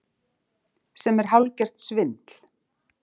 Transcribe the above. Sem er hálfgert svindl